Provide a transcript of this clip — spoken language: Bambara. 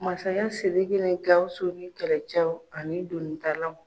Masakɛ Siriki ni Gawusu ni kɛlɛcɛw ani doni talaw.